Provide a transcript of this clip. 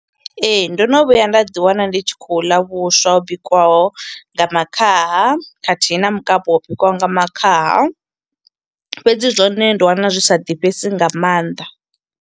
Ee, ndo no vhuya nda ḓi wana ndi tshi khou ḽa vhuswa ho bikiwaho nga makhaha, khathihi na mukapu wa bikiwaho nga makhaha. Fhedzi zwone ndo wana zwi sa ḓifhesi nga maanḓa.